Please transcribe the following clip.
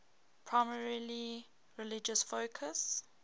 primarily religious focus